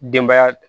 Denbaya